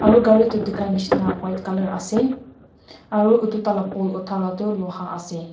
aru gari itu dikhai nishina buka colour ase aru utu taila poll uthaluitu luha ase.